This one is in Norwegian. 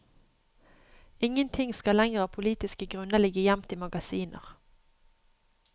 Ingenting skal lenger av politiske grunner ligge gjemt i magasiner.